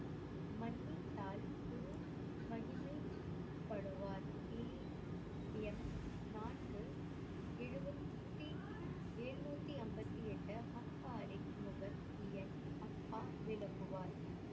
மன்னித்தால் குரு மகிமைபடுவார் நான்கு எழுவத்தி எழுநூத்தி அம்பத்தி எட்டு விளக்குவார்.